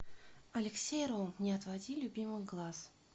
алексей ром не отводи любимых глаз